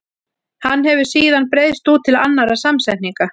Hann hefur síðan breiðst út til annarra samsetninga.